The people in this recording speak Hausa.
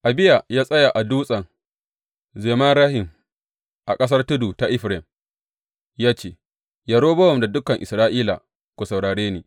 Abiya ya tsaya a Dutsen Zemarayim, a ƙasar tudu ta Efraim ya ce, Yerobowam da dukan Isra’ila, ku saurare ni!